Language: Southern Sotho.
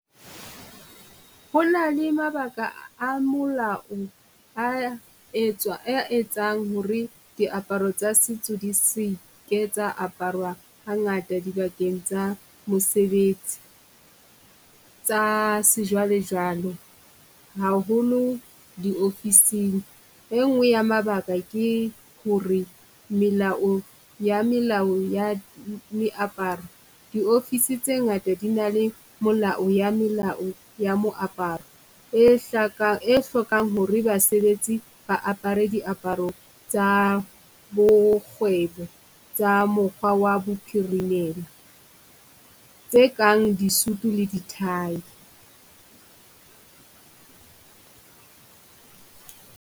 Hona le mabaka a molao a a etsang ho re diaparo tsa setso di se ke tsa aparwa hangata dibakeng tsa mesebetsi, tsa sejwalejwale haholo di-office-ing. E ngwe ya mabaka ke ho re melao wa melao ya meaparo di-office tse ngata di na le molao ya melao ya moaparo, e e hlokang ho re basebetsi ba apere diaparo tsa bo kgwebo tsa mokgwa wa bophirimela. Tse kang di-suit le di-tie.